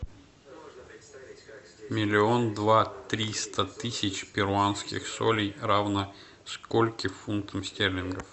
миллион два триста тысяч перуанских солей равно скольким фунтам стерлингов